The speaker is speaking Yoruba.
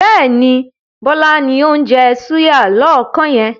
Bẹ́ẹ̀ni, Bọlá ni ó ń jẹ́ súyà lọ́ọ̀kan yẹn.